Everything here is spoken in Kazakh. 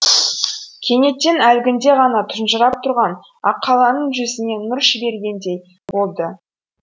кенеттен әлгінде ғана тұнжырап тұрған аққаланың жүзіне нұр жүгіргендей болады